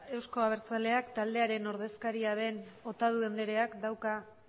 euzko abertzaleak taldearen ordezkaria den otadui andreak dauka